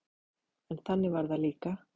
En þannig var það líka.